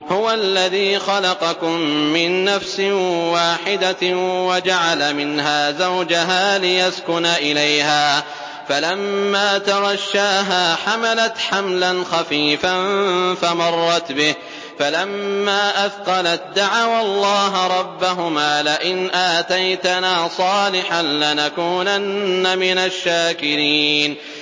۞ هُوَ الَّذِي خَلَقَكُم مِّن نَّفْسٍ وَاحِدَةٍ وَجَعَلَ مِنْهَا زَوْجَهَا لِيَسْكُنَ إِلَيْهَا ۖ فَلَمَّا تَغَشَّاهَا حَمَلَتْ حَمْلًا خَفِيفًا فَمَرَّتْ بِهِ ۖ فَلَمَّا أَثْقَلَت دَّعَوَا اللَّهَ رَبَّهُمَا لَئِنْ آتَيْتَنَا صَالِحًا لَّنَكُونَنَّ مِنَ الشَّاكِرِينَ